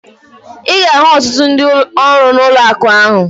Ị ga-ahụ ọtụtụ ndị ọrụ n'ụlọakụ ahụ